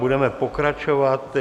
Budeme pokračovat.